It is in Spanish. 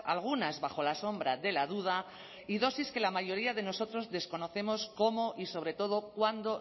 algunas bajo la sombra de la duda y dosis que la mayoría de nosotros desconocemos cómo y sobre todo cuando